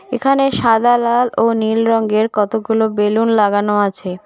এখানে সাদা লাল ও নীল রঙের কতগুলো বেলুন লাগানো আছে।